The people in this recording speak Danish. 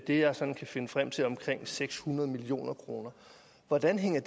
det jeg sådan kan finde frem til er omkring seks hundrede million kroner hvordan hænger